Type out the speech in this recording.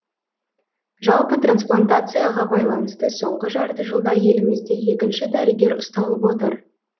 жалпы трансплантацияға байланысты соңғы жарты жылда елімізде екінші дәрігер ұсталып отыр